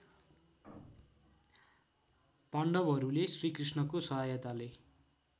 पाण्डवहरूले श्रीकृष्णको सहायताले